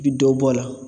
I bi dɔ bɔ a la